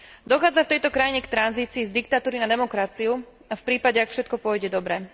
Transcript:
Dochádza v tejto krajine k tranzícii z diktatúry na demokraciu a v prípade, ak všetko pôjde dobre.